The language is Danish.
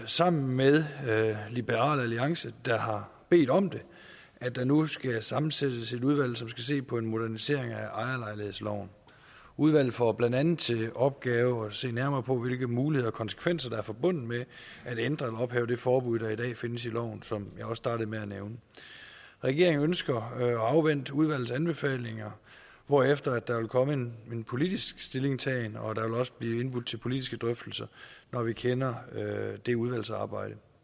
sammen med liberal alliance der har bedt om det at der nu skal sammensættes et udvalg som skal se på en modernisering af ejerlejlighedsloven udvalget får blandt andet til opgave at se nærmere på hvilke muligheder og konsekvenser der er forbundet med at ændre eller ophæve det forbud der i dag findes i loven som jeg også startede med at nævne regeringen ønsker at afvente udvalgets anbefalinger hvorefter der vil komme en politisk stillingtagen og der vil også blive indbudt til politiske drøftelser når vi kender det udvalgsarbejde